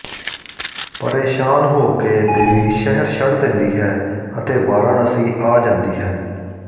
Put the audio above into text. ਪਰੇਸ਼ਾਨ ਹੋਕੇ ਦੇਵੀ ਸ਼ਹਿਰ ਛੱਡ ਦਿੰਦੀ ਹੈ ਅਤੇ ਵਾਰਾਣਸੀ ਆ ਜਾਂਦੀ ਹੈ